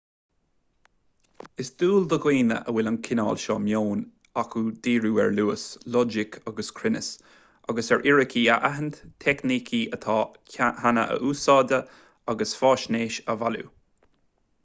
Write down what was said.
is dual do dhaoine a bhfuil an cineál seo meoin acu díriú ar luas loighic agus cruinneas agus ar fhíricí a aithint teicnící atá ann cheana a athúsáid agus faisnéis a bhailiú